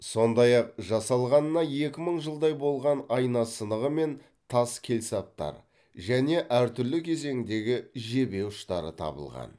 сондай ақ жасалғанына екі мың жылдай болған айна сынығы мен тас келсаптар және әртүрлі кезеңдегі жебе ұштары табылған